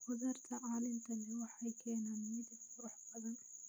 Khudaarta caleenta leh waxay keenaan midab qurux badan.